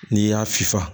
N'i y'a fifa